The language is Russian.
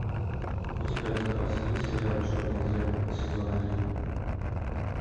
у тебя в запасе есть сериал черное зеркало сезон один